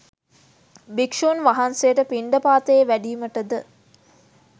භික්‍ෂූන් වහන්සේට පිණ්ඩපාතයේ වැඩීමට ද